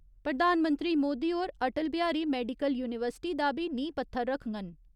प्रधानमंत्री मोदी होर Atal Bihari medical university दा बी नींह् पत्थर रक्खङन।